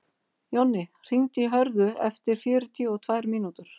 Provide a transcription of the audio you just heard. Jonni, hringdu í Hörðu eftir fjörutíu og tvær mínútur.